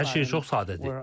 Hər şey çox sadədir.